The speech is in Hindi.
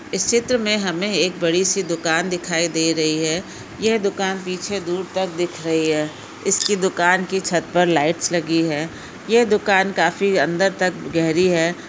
इस चित्र मे हमे एक बड़ी सी दुकान दिखाई दे रही है यह दुकान पीछे दूर तक दिख रही है। इसकी दुकान की छत पर लाइट्स लगी है ये दुकान काफी अंदर तक गहरी है।